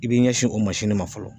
I b'i ɲɛsin o masini ma fɔlɔ